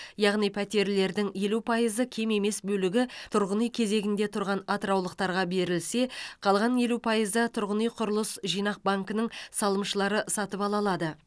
яғни пәтерлердің елу пайызы кем емес бөлігі тұрғын үй кезегінде тұрған атыраулықтарға берілсе қалған елу пайызы тұрғын үй құрылыс жинақ банкінің салымшылары сатып ала алады